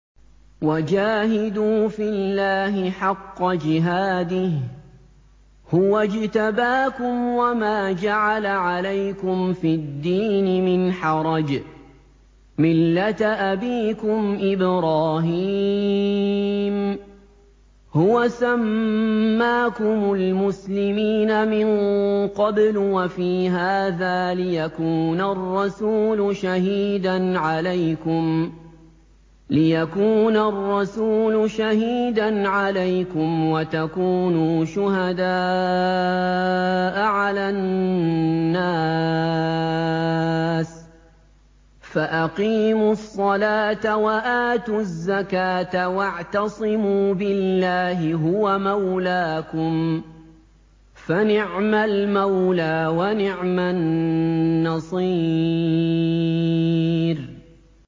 وَجَاهِدُوا فِي اللَّهِ حَقَّ جِهَادِهِ ۚ هُوَ اجْتَبَاكُمْ وَمَا جَعَلَ عَلَيْكُمْ فِي الدِّينِ مِنْ حَرَجٍ ۚ مِّلَّةَ أَبِيكُمْ إِبْرَاهِيمَ ۚ هُوَ سَمَّاكُمُ الْمُسْلِمِينَ مِن قَبْلُ وَفِي هَٰذَا لِيَكُونَ الرَّسُولُ شَهِيدًا عَلَيْكُمْ وَتَكُونُوا شُهَدَاءَ عَلَى النَّاسِ ۚ فَأَقِيمُوا الصَّلَاةَ وَآتُوا الزَّكَاةَ وَاعْتَصِمُوا بِاللَّهِ هُوَ مَوْلَاكُمْ ۖ فَنِعْمَ الْمَوْلَىٰ وَنِعْمَ النَّصِيرُ